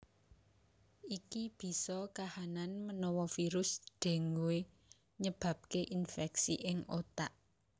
Iki bisa kahanan menawa virus dengue nyebabke infeksi ing otak